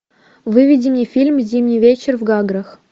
выведи мне фильм зимний вечер в гаграх